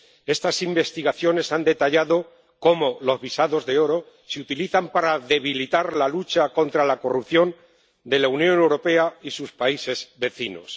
Estas investigaciones han detallado cómo los visados de oro se utilizan para debilitar la lucha contra la corrupción en la Unión Europea y sus países vecinos.